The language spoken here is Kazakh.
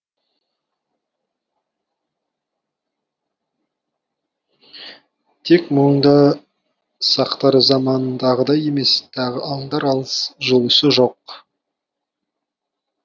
тек мұнда сақтар заманындағыдай емес тағы аңдар алыс жұлысы жоқ